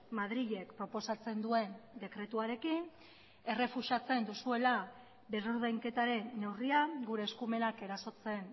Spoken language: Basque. madrilek proposatzen duen dekretuarekin errefusatzen duzuela berrordainketaren neurria gure eskumenak erasotzen